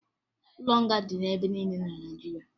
Ụlọ nga dị ebe niile na Naịjirịa